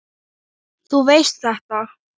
Þú veist þetta.